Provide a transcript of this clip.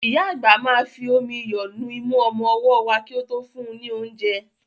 Ìyá àgbà máa fi omi iyọ̀ nu imú ọmọ ọwọ́ wa kí ó tó fún un ní oúnjẹ.